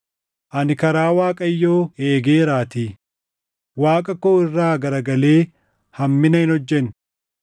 Ani karaa Waaqayyoo eegeeraatii; Waaqa koo irraa garagalee hammina hin hojjenne.